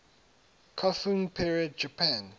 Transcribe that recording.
kofun period japan